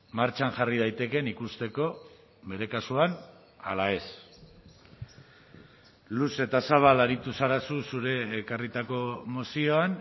martxan jarri daitekeen ikusteko bere kasuan ala ez luze eta zabal aritu zara zu zure ekarritako mozioan